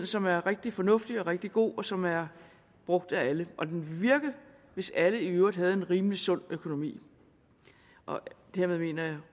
som er rigtig fornuftig og rigtig god og som er brugt af alle og den ville virke hvis alle i øvrigt havde en rimelig sund økonomi og dermed mener